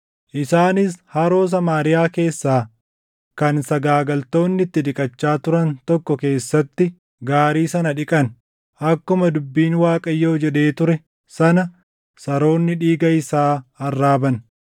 Isaanis haroo Samaariyaa keessaa kan sagaagaltoonni itti dhiqachaa turan tokko keessatti gaarii sana dhiqan; akkuma dubbiin Waaqayyoo jedhee ture sana saroonni dhiiga isaa arraaban.